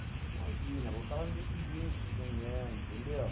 Imagina, voltava no dia seguinte, de manhã, entendeu?